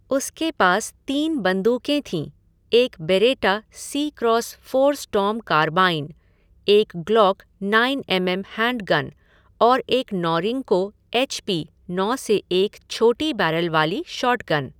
उसके पास तीन बंदूकें थीं एक Beretta C cross four storm carbine, एक Glock nine M M handgun और एक नॉरिंको एच पी नौ से एक छोटी बैरल वाली शॉटगन।